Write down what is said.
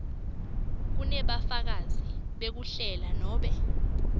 kunebufakazi bekuhlela nobe